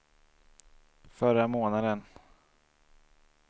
förra månaden